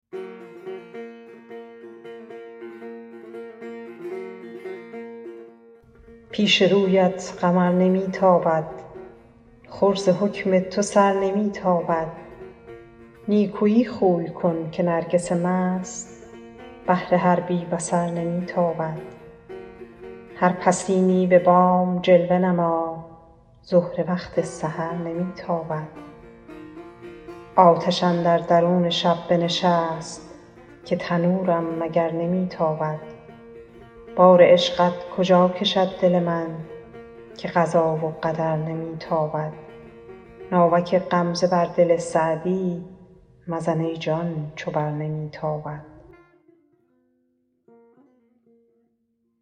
پیش رویت قمر نمی تابد خور ز حکم تو سر نمی تابد نیکویی خوی کن که نرگس مست بر تو با کین و شر نمی تابد دم غنیمت بدان زمان بشناس زهره وقت سحر نمی تابد آتش اندر درون شب بنشست که تنورم مگر نمی تابد بار عشقت کجا کشد دل من که قضا و قدر نمی تابد ناوک غمزه بر دل سعدی مزن ای جان چو بر نمی تابد